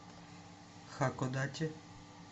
хакодате